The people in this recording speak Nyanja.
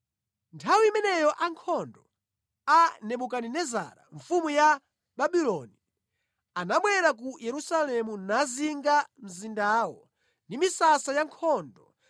Nthawi imeneyo ankhondo a Nebukadinezara mfumu ya Babuloni anabwera ku Yerusalemu nazinga mzindawo ndi misasa ya nkhondo